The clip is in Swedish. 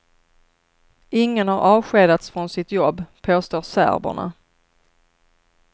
Ingen har avskedats från sitt jobb, påstår serberna.